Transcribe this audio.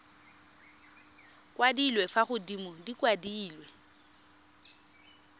kwadilwe fa godimo di kwadilwe